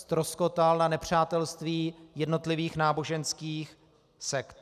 Ztroskotal na nepřátelství jednotlivých náboženských sekt.